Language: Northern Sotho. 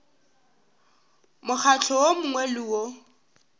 mokgatlo wo mongwe le wo